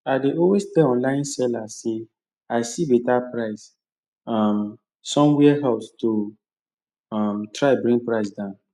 i dey always tell online sellers say i see better price um somewhere else to um try bring price down